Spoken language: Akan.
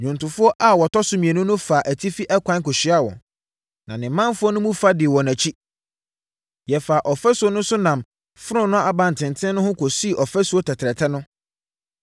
Nnwontofoɔ a wɔtɔ so mmienu no faa atifi ɛkwan kɔhyiaa wɔn. Me ne ɔmanfoɔ no mu fa dii wɔn akyi. Yɛfaa ɔfasuo no so nam Fononoo Abantenten no ho kɔsii Ɔfasuo Tɛtrɛtɛ no,